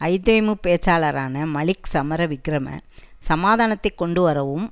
ஐதேமு பேச்சாளரான மலிக் சமரவிக்கிரம சமாதானத்தைக் கொண்டு வரவும்